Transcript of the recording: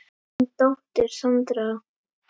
Þín dóttir, Sandra.